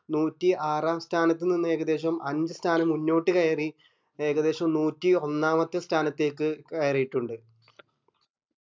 നൂറ്റി ആറാം സ്ഥാനത്ത് നിന്ന് ഏകദേശം അഞ്ച് സ്ഥാനം മുന്നോട്ട് കാരായി ഏകദേശം നൂറ്റി ഒന്നാമത്തെ സ്ഥാനത്തേക്ക് കയറിയിറ്റുണ്ട്